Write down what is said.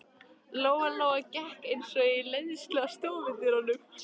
Lóa Lóa gekk eins og í leiðslu að stofudyrunum.